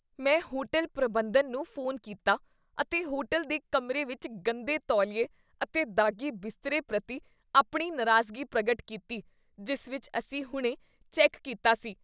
ਮੈਂ ਹੋਟਲ ਪ੍ਰਬੰਧਨ ਨੂੰ ਫੋਨ ਕੀਤਾ ਅਤੇ ਹੋਟਲ ਦੇ ਕਮਰੇ ਵਿੱਚ ਗੰਦੇ ਤੌਲੀਏ ਅਤੇ ਦਾਗ਼ੀ ਬਿਸਤਰੇ ਪ੍ਰਤੀ ਆਪਣੀ ਨਾਰਾਜ਼ਗੀ ਪ੍ਰਗਟ ਕੀਤੀ ਜਿਸ ਵਿੱਚ ਅਸੀਂ ਹੁਣੇ ਚੈੱਕ ਕੀਤਾ ਸੀ।